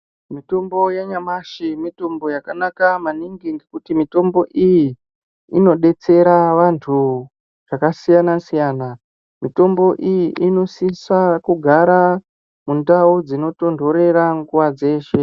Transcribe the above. Mitombo yenyamashi mitombo yakanaka maningi ngekuti mitombo iyi inodetsera vantu zvakasiyanasiyana. Mitombo iyi inosisa kugara mundau dzinotonhorera nguwa dzeshe.